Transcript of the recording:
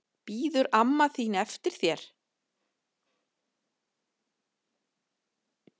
Bíður amma þín eftir þér?